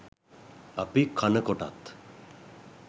අපි කනකොටත්